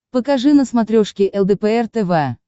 покажи на смотрешке лдпр тв